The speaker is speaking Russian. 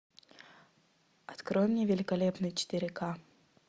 открой мне великолепный четыре ка